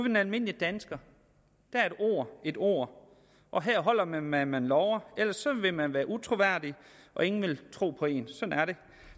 den almindelige dansker er et ord et ord og her holder man hvad man lover ellers vil man være utroværdig og ingen vil tro på en sådan er det